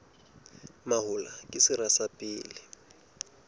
mahola ke sera sa pele